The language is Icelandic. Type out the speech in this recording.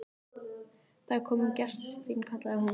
Það er kominn gestur til þín, kallaði hún.